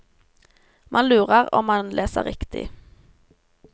Man lurer om man leser riktig.